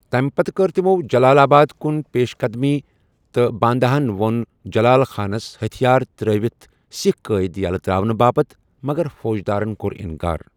تمہِ پتہٕ كٕر تِمو٘ جلال آباد كُن پیش قدمی تہٕ بانداہن وو٘ن جلال خانس ہتھیار تر٘ٲوِتھ سِكھ قٲدۍ یلہٕ تر٘اونہٕ باپتہِ مگر فوجدارن كو٘ر اِنكار ۔